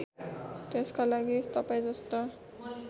त्यसका लागि तपाईँजस्ता